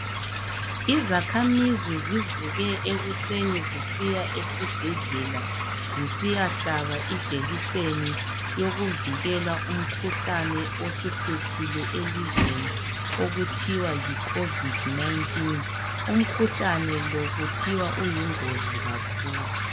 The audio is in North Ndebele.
Izakhamizi zivuke ekuseni zisiya esibhedlela zisiya hlaba ijekiseni eyokuvikela umkhuhlane osuhluphile elizweni okuthiwa yiCovid-19.Umkhuhlane lo kuthiwa uyingozi kakhulu.